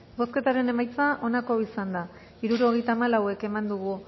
bozketaren emaitza onako izan da hirurogeita hamalau eman dugu